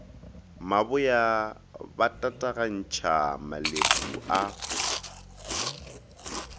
maboya ba tatagantšha malepu a